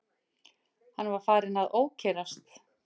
Hann var farinn að ókyrrast.